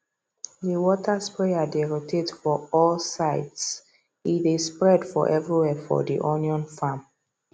the water sprayer dey rotate for all sidese dey spread for everywhere for the onion farm